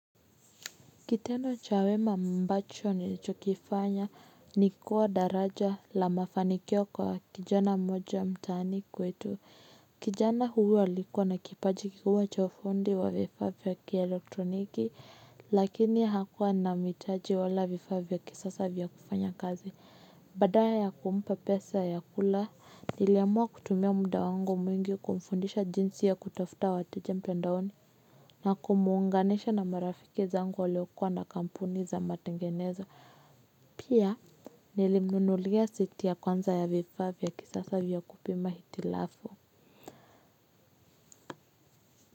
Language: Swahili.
Kitendo cha wema ambacho nilichokifanya ni kuwa daraja la mafanikio kwa kijana mmoja mtaani kwetu. Kijana huyu alikuwa na kipaji kikuu cha ufundi wa vifaa vya kielektroniki, lakini hakuwa na mitaji wala vifaa vya kisasa vya kufanya kazi. Badala ya kumpa pesa ya kula, niliamua kutumia muda wangu mwingi kumfundisha jinsi ya kutafuta wateja mtandaoni. Na kumuunganisha na marafiki zangu waliokuwa na kampuni za matengenezo. Pia nilimnunulia seti ya kwanza ya vifaa vya kisasa vya kupima hitilafu.